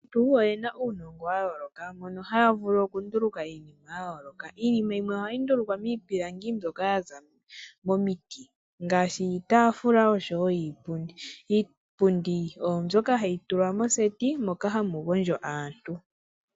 Aantu oye na uunongo wa yooloka moka haya vulu okunduluka iinima ya yooloka. Iinima yimwe ohayi ndulukwa miipilangi mbyoka ya za momiti ngaashi iitaafula noshowo iipundi. Iipundi oyo mbyoka hayi tulwa moseti moka hamu gondjo aantu.